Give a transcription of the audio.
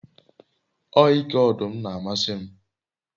o ike odum n'amasi m